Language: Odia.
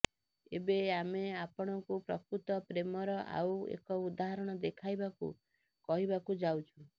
ଏବେ ଆମେ ଆପଣଙ୍କୁ ପ୍ରକୃତ ପ୍ରେମର ଆଉ ଏକ ଉଦାହରଣ ଦେଖାଇବାକୁ କହିବାକୁ ଯାଉଛୁ